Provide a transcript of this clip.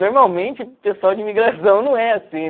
Normalmente, pessoal de imigração não é assim